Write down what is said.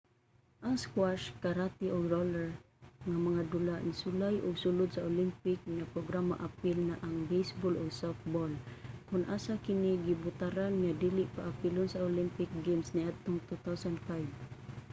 ang squash karate ug roller nga mga dula nisulay ug sulod sa olympic nga programa apil na ang baseball ug softball kon asa kini gibotaran nga dili paapilon sa olympic games niadtong 2005